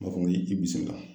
N b'a fɔ i bisimilah.